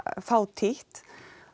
fátítt